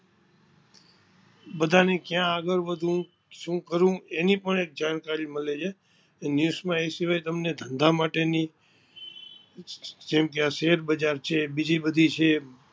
બધા ને કયા આગડ વધવું શું કરવું એની પણ જાણકારી મળે છે news એ શિવાય ધંધા માટેની, જેમ કે આ શેર બજાર છે, બીજી બધી છે.